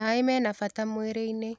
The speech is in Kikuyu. Maĩmena bata mwĩrĩ-inĩ.